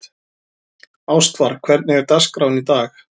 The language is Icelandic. Ástvar, hvernig er dagskráin í dag?